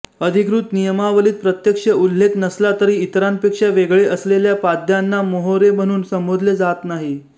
अधिकृत नियमावलीत प्रत्यक्ष उल्लेख नसला तरी इतरांपेक्षा वेगळे असलेल्या प्याद्यांना मोहोरे म्हणून संबोधले जात नाही